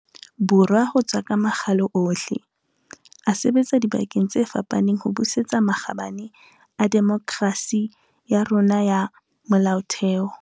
Borwa ho tswa ka makgalo ohle, a sebetsa dibakeng tse fapaneng ho busetsa makgabane a demokerasi ya rona ya molaotheo.